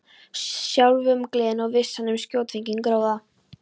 Sjálfumgleðin og vissan um skjótfenginn gróða.